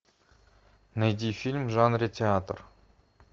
найди фильм в жанре театр